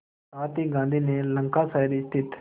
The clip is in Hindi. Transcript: साथ ही गांधी ने लंकाशायर स्थित